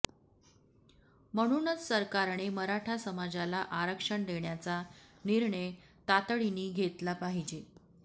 म्हणूनच सरकारने मराठा समाजाला आरक्षण देण्याचा निर्णय तातडीने घेतला पाहिजे